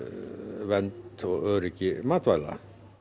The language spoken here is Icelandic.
vernd og öryggi matvæla